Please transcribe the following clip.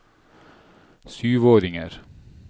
syvåringer